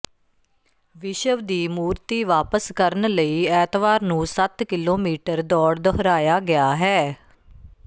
ਵਿਸ਼ਵ ਦੀ ਮੂਰਤੀ ਵਾਪਸ ਕਰਨ ਲਈ ਐਤਵਾਰ ਨੂੰ ਸੱਤ ਕਿਲੋਮੀਟਰ ਦੌੜ ਦੁਹਰਾਇਆ ਗਿਆ ਹੈ